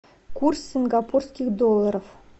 курс сингапурских долларов